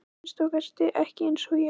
Að minnsta kosti ekki eins og ég.